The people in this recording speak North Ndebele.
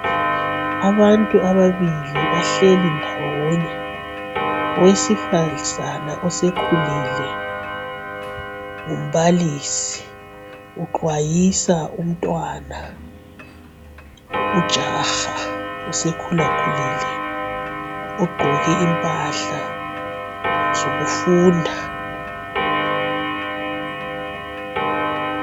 Abantu ababili bahleli ndawonye. Owesifazana osekhulile ngumbalisi. Uxwayisa umtwana, ujaha osekhulakhulie. Ugqoke impahla zokufunda.